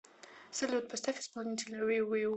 салют поставь исполнителя виу виу